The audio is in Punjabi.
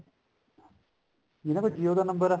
ਜਿੰਨਾ ਪਰ jio ਦਾ number ਐ